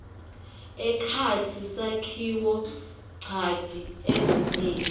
ekhatsi sakhiwonchanti ezingeni